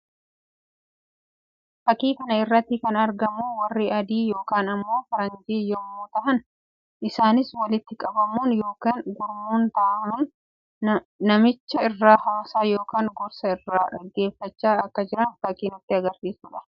Fakkii kana irratti kan argamu warri adii yookiin immoo faranjii yammuu tahan isaanis waltti qabamuun yookiin gurmuun tahuun namicha irraa haasaa yookiin gorsa irraa dhaggeeffachaa akka jiran fakkii agarsiisuu dha.